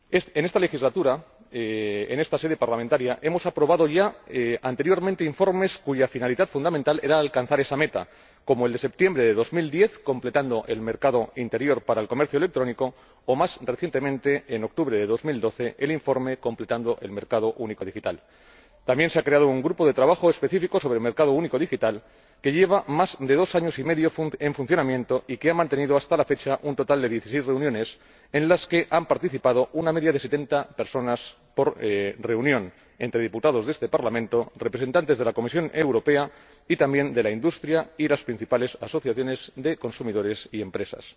En esta legislatura, en esta sede parlamentaria, hemos aprobado informes cuya finalidad fundamental era alcanzar esa meta, como el de septiembre de 2010, completando el mercado interior para el comercio electrónico, o más recientemente, en octubre de 2012, el informe completando el mercado único digital. También se ha creado un grupo de trabajo específico sobre el mercado único digital que lleva más de dos años y medio en funcionamiento y que ha mantenido, hasta la fecha, un total de dieciséis reuniones, en las que han participado una media de setenta personas por reunión, entre diputados a este Parlamento, representantes de la Comisión Europea y también de la industria y de las principales asociaciones de consumidores y empresas.